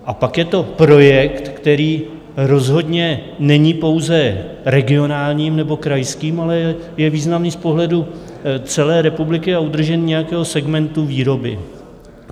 A pak je to projekt, který rozhodně není pouze regionálním nebo krajským, ale je významný z pohledu celé republiky a udržení nějakého segmentu výroby.